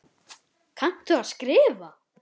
Kannt þú að skrifa?